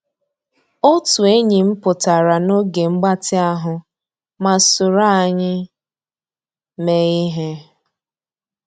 Ótú ényí m pụ́tárá n'ògé mgbàtị́ ahụ́ má sòró ànyị́ meé íhé.